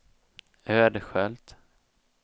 Ödskölt